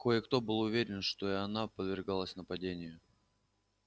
кое-кто был уверен что и она подвергалась нападению